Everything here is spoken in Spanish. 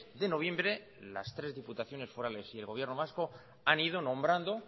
de noviembre las tres diputaciones forales y el gobierno vasco han ido nombrando